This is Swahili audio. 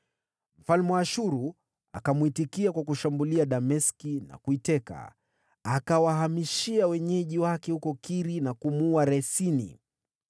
Mfalme wa Ashuru akamwitikia kwa kushambulia Dameski na kuiteka. Akawahamishia wenyeji wake huko Kiri, na kumuua Resini.